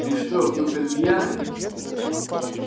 ты что в дупель пьяный